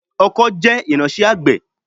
ọkó jẹ́ irinṣẹ́ àgbẹ̀